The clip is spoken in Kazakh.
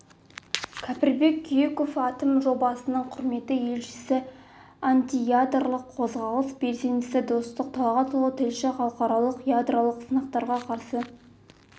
кәріпбек күйіков атом жобасының құрметті елшісі антиядролық қозғалыс белсендісі достық талғатұлы тілші халықаралық ядролық сынақтарға қарсы